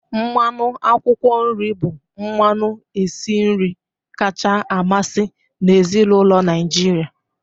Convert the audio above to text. Mmanụ akwụkwọ nri bụ mmanụ esi nri kacha amasị n'ezinụlọ Naijiria.